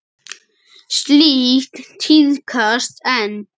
Slíkt tíðkast enn.